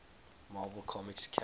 marvel comics characters